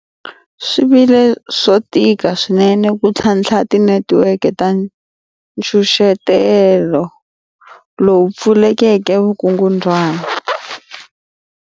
Swi vile swo tika swinene ku ntlhatlha tinetiweke ta nkucetelo lowu pfuleleke vukungundwana.